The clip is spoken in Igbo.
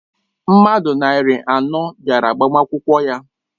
Mmadụ narị anọ bịara agbamakwụkwọ ya.